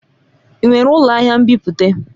Ị nwere ụlọ ahịa nbipute?